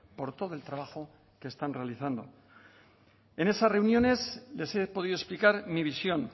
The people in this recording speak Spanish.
por todo el trabajo que están realizando en esas reuniones les he podido explicar mi visión